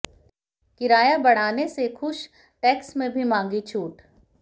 किराया बढ़ाने से खुश टैक्स में भी मांगी छूट